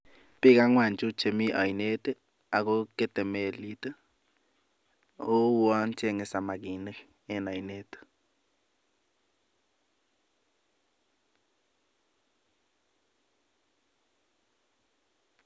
Biik ang'wan chu chemi oinet ago kete melit oo uwon cheng'e samakiniken oinet.